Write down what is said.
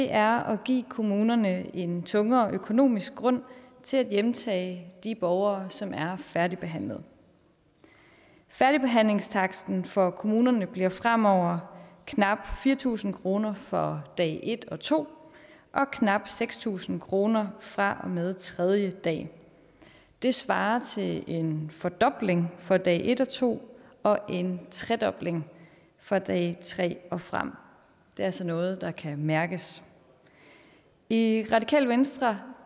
er at give kommunerne en tungere økonomisk grund til at hjemtage de borgere som er færdigbehandlede færdigbehandlingstaksten for kommunerne bliver fremover knap fire tusind kroner for dag et og to og knap seks tusind kroner fra og med tredje dag det svarer til en fordobling for dag et og to og en tredobling fra dag tre og frem det er altså noget der kan mærkes i radikale venstre